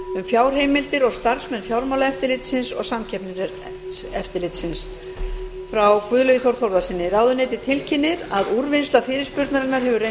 fjárheimildir og starfsmenn fjármálaeftirlitsins og samkeppniseftirlitsins frá guðlaugi þór þórðarsyni ráðuneytið tilkynnir að úrvinnsla fyrirspurnarinnar hefur reynst tímafrekari en ætlað var en mun svara henni eins fljótt og auðið er